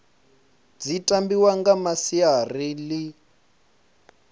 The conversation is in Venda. dzi tambiwa nga masiari ḽi